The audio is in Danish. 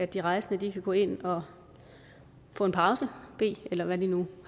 de rejsende kan gå ind og få en pause bede eller hvad de nu